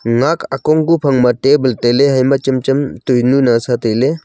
ngak akongku phangma table tailey hema chem chem toinu nasa tailey.